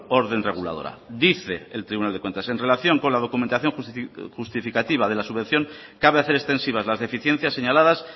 orden reguladora dice el tribunal de cuentas en relación con la documentación justificativa de la subvención cabe hacer extensivas las deficiencias señaladas